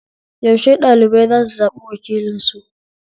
Yaushe ɓɗalibai zasu zaɓi wakilinsu?